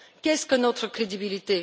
Qu'est ce que notre crédibilité?